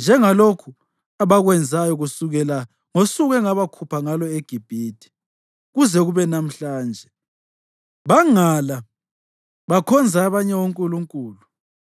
Njengalokhu abakwenzayo kusukela ngosuku engabakhupha ngalo eGibhithe kuze kube lamhlanje, bangala bakhonza abanye onkulunkulu,